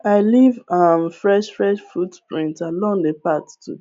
i leave um fresh fresh footprints along the path to